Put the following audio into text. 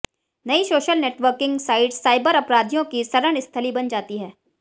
नई social networking sites cyber अपराधियों की शरणस्थली बन जाती हैं